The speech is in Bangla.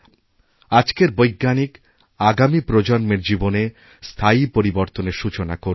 আজকের বৈজ্ঞানিক আগামী প্রজন্মের জীবনে স্থায়ীপরিবর্তনের সূচনা করবেন